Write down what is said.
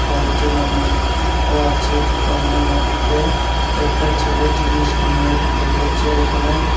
কয়েকজন মানুষ ও আছে দুকানের মধ্যে একটা ছেলে জিনিস কিনিয়া লইতাছে এখানে।